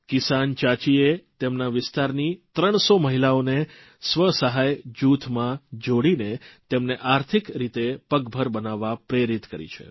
કિસાન ચાચીએ તેમના વિસ્તારની 300 મહિલાઓને સ્વસહાય જૂથમાં જોડીને તેમને આર્થિક રીતે પગભર બનવા પ્રેરિત કરી છે